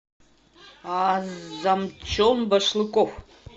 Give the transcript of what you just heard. азамчон башлыков